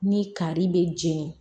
Ni kari bɛ jɛni